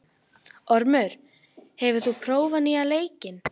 Ormur, hefur þú prófað nýja leikinn?